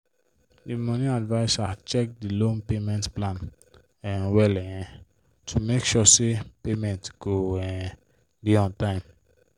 de money adviser check de loan payment plan um well um to make sure say payment go um dey on time.